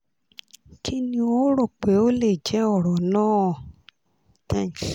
kí ni o o rò pé ó lè jẹ́ ọ̀rọ̀ náà? thanks